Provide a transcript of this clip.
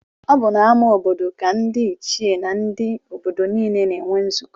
Ọ bụ n'ama obodo ka ndị ichie na ndị obodo niile na-enwe nzukọ